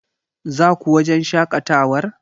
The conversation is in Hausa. Zaku wajen shaƙatawar?